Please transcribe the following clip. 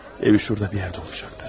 Evi orada bir yerdə olacaqdı.